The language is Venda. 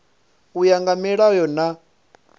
u ya nga milayo na